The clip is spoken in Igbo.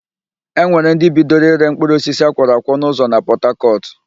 E nwere ndị bidoro ịre mkpụrụosisi akwọrọ akwọ n'ụzọ na Pọtakọtụ